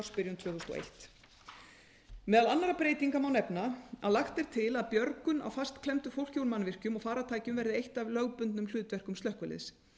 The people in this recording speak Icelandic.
ársbyrjun tvö þúsund og eitt meðal annarra breytinga má nefna að lagt er til að björgun á fastklemmdu fólki úr mannvirkjum og farartækjum verði eitt af lögbundnum hlutverkum slökkviliðs